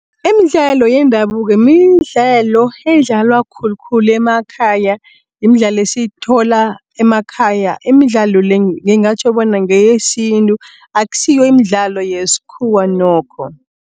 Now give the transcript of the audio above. Imidlalo yendabuko, midlalo edlalwa khulukhulu emakhaya, yimdlalo esiyithola emakhaya. Imidlalo le, ngingatjho bona ngeyesintu akusiyo imidlalo yeskhuwa nokho.